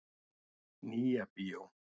Nýja bíó